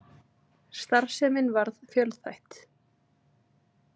Starfsemin varð fjölþætt.